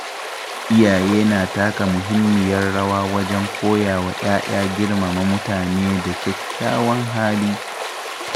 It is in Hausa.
Iyaye na taka muhimmiyar rawa wajen koya wa ‘ya’ya girmama mutune da kyakkyawan hali.